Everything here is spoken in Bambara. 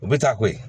U bɛ taa koyi